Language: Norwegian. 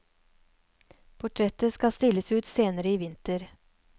Portrettet skal stilles ut senere i vinter.